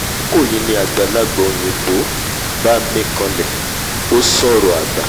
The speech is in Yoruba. àkókò yìí ni àgbàlagbà òyìnbó bá mín kànlẹ̀ ó sọ̀rọ̀ àgbà